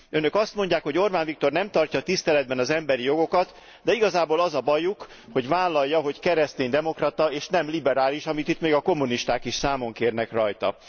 Önök azt mondják, hogy Orbán Viktor nem tartja tiszteletben az emberi jogokat, de igazából az a bajuk, hogy vállalja, hogy kereszténydemokrata, és nem liberális, amit itt még a kommunisták is számon kérnek rajta.